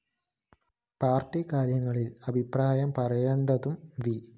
party കാര്യങ്ങളില്‍ അഭിപ്രായം പറയേണ്ടതു വി